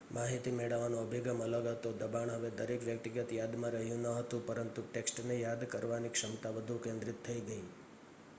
માહિતી મેળવવાનો અભિગમ અલગ હતો દબાણ હવે દરેક વ્યક્તિગત યાદમાં રહ્યું ન હતું પરંતુ ટેક્સ્ટને યાદ કરવાની ક્ષમતા વધુ કેન્દ્રિત થઈ ગઈ